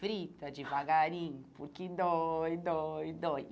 Frita devagarinho, porque dói, dói, dói.